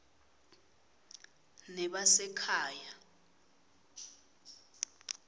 nebasekhaya